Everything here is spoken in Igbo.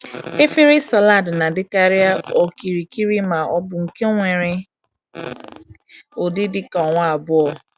Efere salad na-adịkarị okirikiri ma ọ bụ nke nwere ụdị dịka ọnwa abụọ.